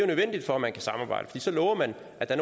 nødvendigt for at man kan samarbejde for så lover man at der